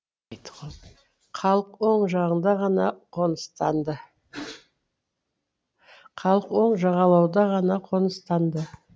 халық оң жағалауда ғана қоныстанды